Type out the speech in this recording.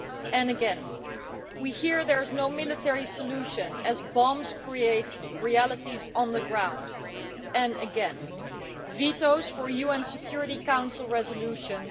And again, we hear there is no military solution as bombs create realities on the ground. And again, vetoes for UN Security Council Resolutions.